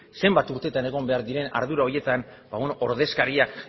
zenbat urte egon behar diren ardura horietan ordezkariak